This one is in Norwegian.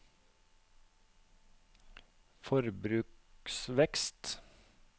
forbruksvekst